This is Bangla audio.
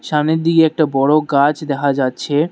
সামনের দিকে একটা বড় গাছ দেখা যাচ্ছে।